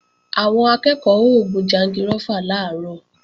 Àwọn akẹ́ẹ̀kọ́ ó gun jangirófà làárọ̀